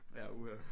Ja uha